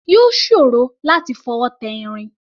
Yóò ṣòro láti fọwọ́ tẹ irin.